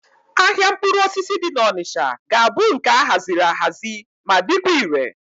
Ahịa mkpụrụ osisi dị n'Onịcha ga-abụ nke a haziri ahazi ma dịkwa ire.